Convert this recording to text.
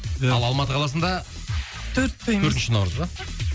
ия ал алматы қаласында төртінші наурыз ба